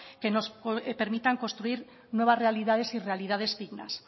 que nos permitan construir nuevas realidades y realidades dignas